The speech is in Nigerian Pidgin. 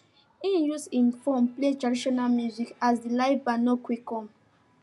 he used hin phone play traditional music as the live band no quick come